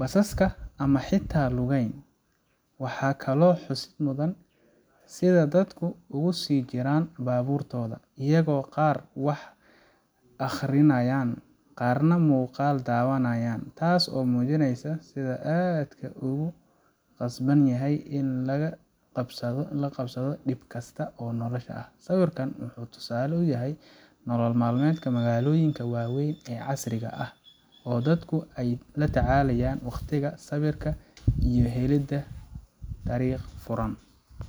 basaska ama xitaa lugeyn waxaa kale oo xusid mudan sida dadku ugu sii jiraan baaburtooda iyaga oo qaar wax aqhrinayan qarrna muqaal dhawanayan taasi oo mujineysa sida aadka loogu qasban yahay in lala qabsado dhib kasta oo nolosha ah sawirkan waxuu tusaale uyahay nolol maalmeedka magalooyinka waaweyn ee casriga ah oo dadku ay la tacalayaan sabirka iyo wado furanka ah